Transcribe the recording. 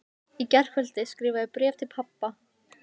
Í gærkvöldi skrifaði ég bréf til pabba.